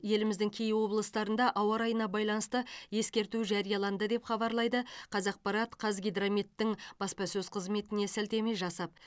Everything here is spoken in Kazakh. еліміздің кей облыстарында ауа райына байланысты ескерту жарияланды деп хабарлайды қазақпарат қазгидрометтің баспасөз қызметіне сілтеме жасап